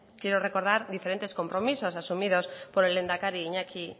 quiero recordar diferentes compromisos asumidos por el lehendakari